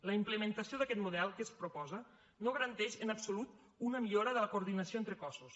la implementació d’aquest model que es proposa no garanteix en absolut una millora de la coordinació entre cossos